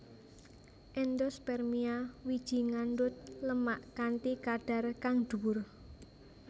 Endospermia wiji ngandhut lemak kanthi kadhar kang dhuwur